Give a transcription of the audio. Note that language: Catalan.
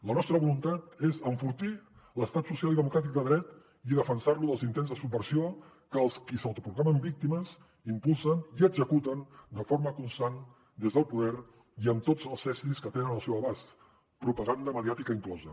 la nostra voluntat és enfortir l’estat social i democràtic de dret i defensar lo dels intents de subversió que els qui s’autoproclamen víctimes impulsen i executen de forma constant des del poder i amb tots els estris que tenen al seu abast propaganda mediàtica inclosa